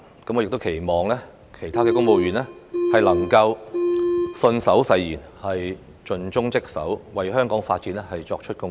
我亦期望其他公務員能信守誓言，盡忠職守，為香港發展作出貢獻。